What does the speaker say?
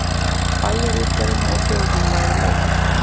Bæjarútgerðinni og þjófanna væri leitað.